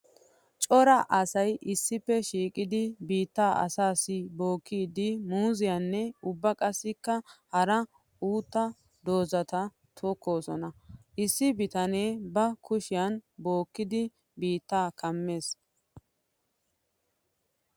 Cora asay issippe shiiqiddi biitta aassi bookkiddi muuziyanne ubba qassikka hara utta doozatta tokkoosona. Issi bitanne ba kushiyan bookkiddo biitta kammees.